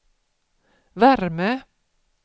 värme